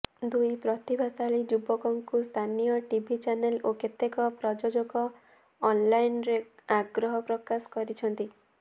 ଦୁଇ ପ୍ରତିଭାଶାଳୀ ଯୁବକଙ୍କୁ ସ୍ଥାନୀୟ ଟିଭି ଚାନେଲ୍ ଓ କେତେକ ପ୍ରଯଜୋକ ଅନ୍ଲାଇନ୍ରେ ଆଗ୍ରହ ପ୍ରକାଶ କରିଛନ୍ତି